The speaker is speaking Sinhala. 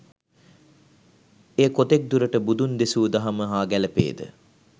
එය කොතෙක් දුරට බුදුන් දෙසූ දහම හා ගැලපේද